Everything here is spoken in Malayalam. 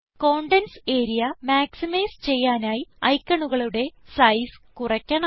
കണ്ടെന്റ്സ് ആരിയ മാക്സിമൈസ് ചെയ്യാനായി ഐക്കണുകളുടെ സൈസ് കുറയ്ക്കണം